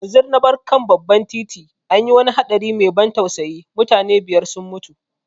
Yanzu na bar kan babban titi, an yi wani haɗari mai ban tausayi, mutane biyar sun mutu.